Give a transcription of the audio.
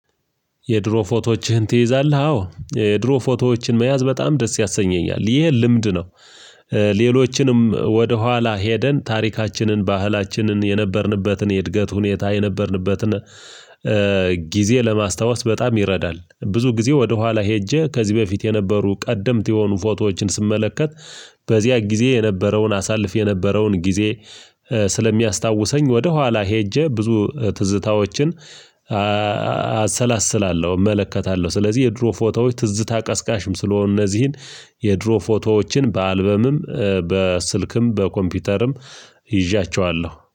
የድሮ ፎቶዎችህን ትይዛለህ? አዎ የድሮ ፎቶዎችን መያዝ በጣም ደስ ያሰኘኛል ይሄ ልምድ ነው ሌሎችንም ወደኋላ ሄደን ታሪካችንን ባህላችንን የነበርንበትን የእድገት ሁኔታ የነበርንበትን ጊዜ ለማስታወስ በጣም ይረዳል ብዙ ጊዜ ወደኋላ ሄጄ ከዚህ በፊት የነበሩ ቀደምት የሆኑ ፎቶዎችን ስመለከት በዚያ ጊዜ የነበረውን አሳልፍ የነበረውን ጊዜ ስለሚያስታውሰኝ ወደኋላ ሄጄ ብዙ ትዝታዎችን አሰላስላለሁ እመለከታለሁ ስለዚህ የድሮ ፎቶዎች ትዝታ ቀስቃሽም ስለሆነ እነዚህን የድሮ ፎቶዎችን በአልበምም በስልክም በኮምፒውተርም ይዣቸዋለሁ።